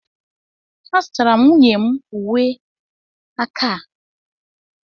a zụtara m nwunye m uwe aka a